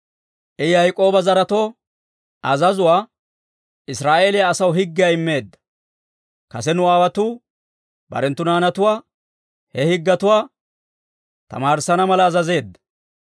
I Yaak'ooba zaretoo azazuwaa, Israa'eeliyaa asaw higgiyaa immeedda. Kase nu aawotuu barenttu naanatuwaa, he higgetuwaa tamaarissana mala azazeedda.